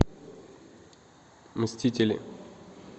мстители